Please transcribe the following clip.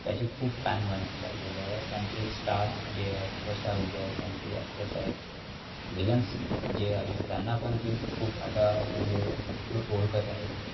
त्याचे खूप fan बनत चालले आहेत. त्यांचे star जे आहेत, superstar जे आहेत त्यांचे जे actors आहेत villans जे आहेत त्यांना पण ते खूप आता म्हणजे लोक ओळखत आहेत.